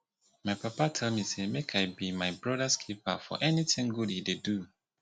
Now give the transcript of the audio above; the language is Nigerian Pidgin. my papa tell me say make i be my brothers keeper for anything good he dey do